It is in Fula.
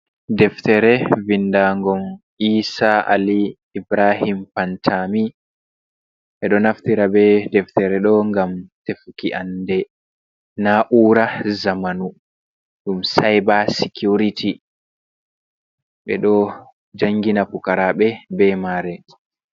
Deftere vindagum ISA ALI IBRAHIM PANTAMI. Ɓeɗo naftira be deftere ɗo ngam tefuki ande na, ura zamanu, ɗum seba sikiwriti. Ɓeɗo jangina pukaraɓe be mare.